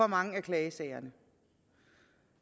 mange af klagesagerne